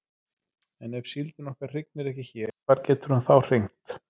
En ef síldin okkar hrygnir ekki hér hvar getur hún þá hrygnt?